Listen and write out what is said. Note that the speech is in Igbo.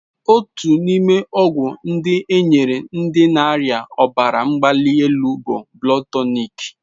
Otu n'ime ọgwụ ndị e nyere ndị na-arịa ọbara mgbali elu bụ Blood Tonic.